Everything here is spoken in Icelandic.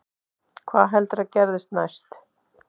Hvað heldurðu að gerist næst?